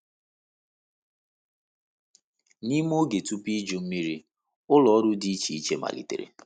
N’ime oge tupu Iju Mmiri, ụlọ ọrụ dị iche iche malitere.